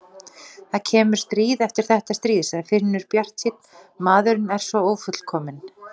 Það kemur stríð eftir þetta stríð, sagði Finnur bjartsýnn, maðurinn er svo ófullkominn.